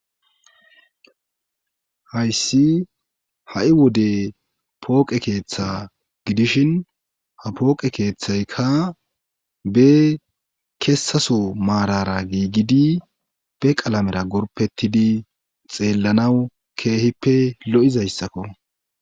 hayssi ha7i wode pooqe keeththa gidishin ha pooqe keeththaykka be kessaso maarara giigidi be qalamera gorpettidi xeellanawu keehippe lo7izayssakko